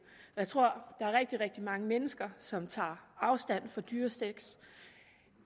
jeg tror der er rigtig rigtig mange mennesker som tager afstand fra dyresex